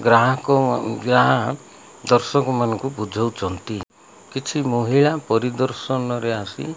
ଗ୍ରାହକ ଯାହା ଦଶକ ମାନଙ୍କୁ ଭୂଜାଉଛନ୍ତି କିଛି ମହିଳା ପରିଦର୍ଶନ ରେ ଆସି --